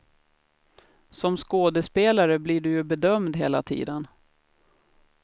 Som skådespelare blir du ju bedömd hela tiden.